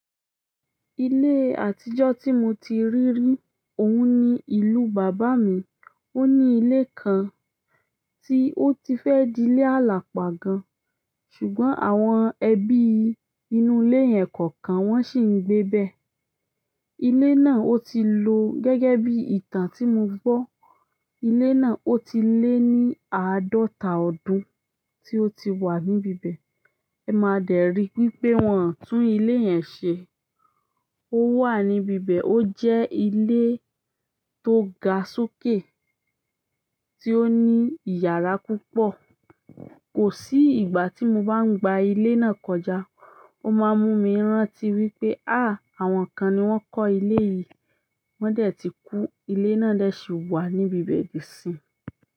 Ilé àtijọ́ tí mo ti rí rí, òun ni ìlú bàbá mi. Ó ní ilé kan tí ó ti fẹ́ dilé àlàpà gan-an, ṣùgbọ́n àwọn ẹbí inú ilé yẹn kọ̀ọ̀kan, wọn ṣì ń gbébẹ̀. Ilé náà ó ti lo gẹ́gẹ́ bí ìtàn tí mo gbọ́. Ilé náà ó ti lé ní àádọ́ta ọdún tí ó ti wà níbi'bẹ̀. Ẹ máa dẹ̀ ri wípé wọn ò tún ilé yẹn ṣe. Ó wà níbibẹ̀, ó jẹ́ ilé tó ga sókè, tí ó ní ìyàrá púpọ̀. Kò sí ìgbà tí mo bá ń gba ilé náà kọjá, ó máa ń mú mi rántí wípé, áà! Àwọn kan ni wọ́n kọ́ ilé yìí, wọ́n dẹ̀ ti kú, ilé náà dẹ̀ ṣì wà níbi ibẹ̀ dìsinyìí.